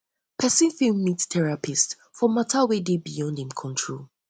persin fit meet therapist for matter for matter wey de beyond im control